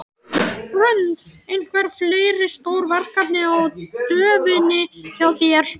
Hrund: Einhver fleiri stór verkefni á döfinni hjá þér?